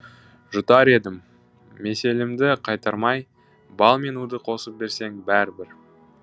жұтар едім меселімді қайтармай бал мен уды қосып берсең бәрі бір